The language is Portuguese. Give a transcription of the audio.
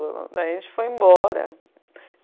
Daí a gente foi embora.